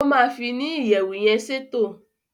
o ma fi ni iyẹwu yén ṣètò.